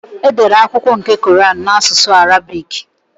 Edere akwụkwọ nke kọran n'asụsụ Arabị́c.